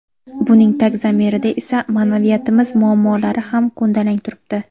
Buning tag zamirida esa ma’naviyatimiz muammolari ham ko‘ndalang turibdi.